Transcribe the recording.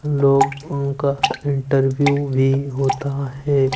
लोगों का फिल्टर भी होता है।